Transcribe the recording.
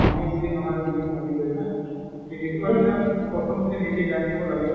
নহয় বুলি নহয় বুলি ভাবি লয় না। সেইটো কাৰণে প্ৰথমতে নিজে জানিব লাগে।